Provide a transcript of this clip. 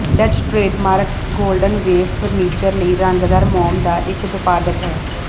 Dutch trademark Golden Wave furniture ਲਈ ਰੰਗਦਾਰ ਮੋਮ ਦਾ ਇੱਕ ਉਤਪਾਦਕ ਹੈ